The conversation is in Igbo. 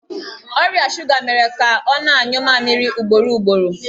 Ọrịa shuga mere ka ọ na-anyụ mamịrị ugboro ugboro.